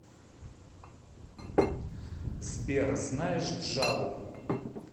сбер знаешь джаву